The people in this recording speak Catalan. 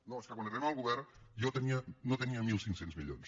no és que quan arribem al govern jo no tenia mil cinc cents milions